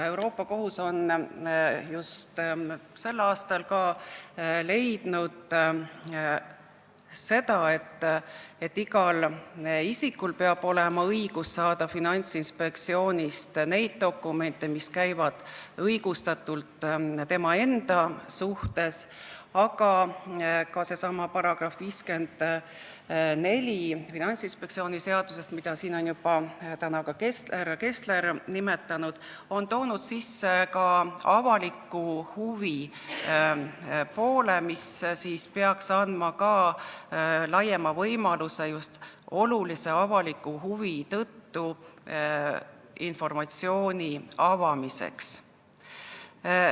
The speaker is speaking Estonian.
Euroopa Kohus leidis just sel aastal, et igal isikul peab olema õigus saada Finantsinspektsioonist dokumente, mis käivad tema enda kohta, aga ka seesama Finantsinspektsiooni seaduse § 54, mida siin juba ka härra Kessler nimetas, on toonud sisse avaliku huvi poole, mis peaks andma laiema võimaluse just olulise avaliku huvi tõttu informatsiooni avada.